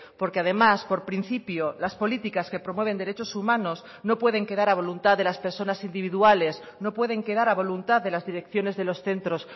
porque además por principio las políticas que promueven derechos humanos no pueden quedar a voluntad de las personas individuales no pueden quedar a voluntad de las direcciones de los centros